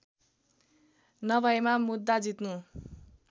नभएमा मुद्दा जित्नु